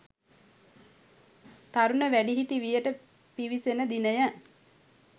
තරුණ වැඩිහිටි වියට පිවිසෙන දිනය